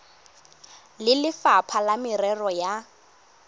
le lefapha la merero ya